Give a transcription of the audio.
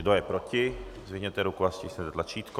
Kdo je proti, zvedněte ruku a stiskněte tlačítko.